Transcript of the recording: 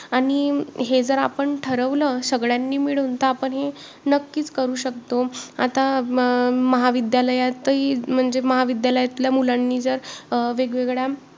आणि हे जर आपण ठरवलं सगळ्यांनी मिळून तर आपण हे नक्कीच करू शकतो, आता अं महाविद्यालयातही म्हणजे महाविद्यालयातल्या मुलांनी जर अं वेगवेगळ्या